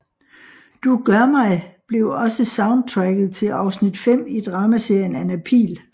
Du Gør Mig blev også soundtracket til afsnit 5 i dramaserien Anna Pihl